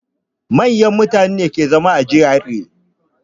Manyan mutane ne ke zama a GRA.